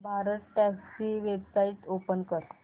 भारतटॅक्सी ची website open कर